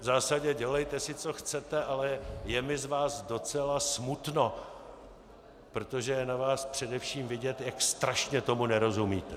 V zásadě si dělejte co chcete, ale je mi z vás docela smutno, protože je na vás především vidět, jak strašně tomu nerozumíte.